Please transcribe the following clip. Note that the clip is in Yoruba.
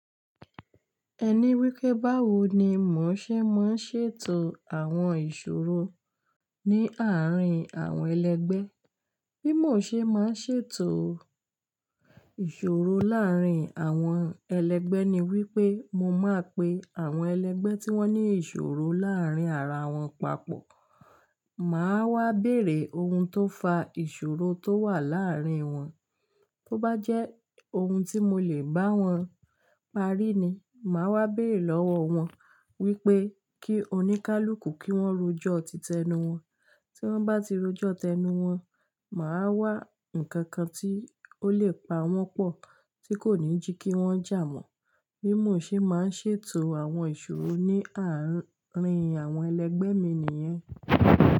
Ẹni wípé báwo ni mò ń ṣe máa ń ṣètò àwọn ìṣòro ní àárín àwọn ẹlẹgbẹ́. Bí mò ṣe máa ń ṣètò ìṣòro láàrín àwọn ẹlẹgbẹ́ ni wípé mo máa pe àwọn ẹlẹgbẹ́ tí wón ní ìṣòro láàrín ara wọn papọ̀. Màá wá bèrè ohun tó fa ìṣòro tó wà láàrín wọn. Tó bá jẹ́ ohun tí mo lè bá wọn parí ni, màá wá bèrè lọ́wọ́ wọn wípé kí oníkálukú kí wón rojọ́ titẹnu wọn. Tí wón bá ti rojọ́ tẹnu wọn, màá wá ǹkankan tí ó lè pa wọn pọ̀ tí kò ní jí kí wọn jà mọ́. Bí mò ṣe máa ń ṣètò àwọn ìṣòro ní àárín àwọn ẹlẹgbẹ́ mi nìyẹn.